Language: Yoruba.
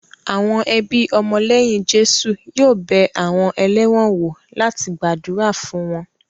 Àwọn ẹbí ọmọ lẹ́yìn Jésù yóò bẹ àwọn ẹlẹ́wọ̀n wò láti gbàdúrà fún wọn